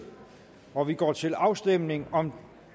og vi går til afstemning om